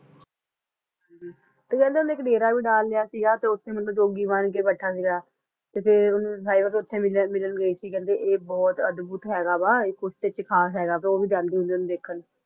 ਤੇ ਕਹਿੰਦੇ ਉਸ ਨੇ ਡੇਰਾ ਭੀ ਦਲ ਲਾਯਾ ਸੀ ਤੇ ਉਠਾਈ ਜੋਗੀ ਬਣ ਕ ਘੁੰਮਦਾ ਸੀ ਗਯਾ ਤੇ ਹਾਯੋ ਉਸ ਨੂੰ ਮਿਲਣ ਗਏ ਸੀ ਕ ਕੁਛ ਅੱਧ ਬਹੁਤ ਹੈ ਕੁਛ ਖਾਸ ਹੈ ਤੋਂ ਉਹ ਉਸ ਨੂੰ ਵੇਖਣ ਗਏ ਸੀ